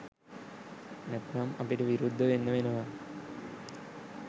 නැත්නම් අපිට විරුද්ධ වෙන්න වෙනවා